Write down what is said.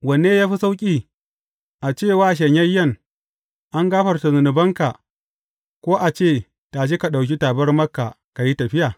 Wanne ya fi sauƙi, a ce wa shanyayyen, An gafarta zunubanka,’ ko a ce, Tashi, ɗauki tabarmarka ka yi tafiya’?